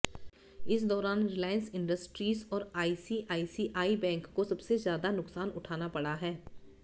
इस दौरान Reliance Industries और आईसीआईसीआई बैंक को सबसे ज्यादा नुकसान उठाना पड़ा है